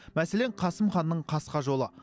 мәселен қасым ханның қасқа жолы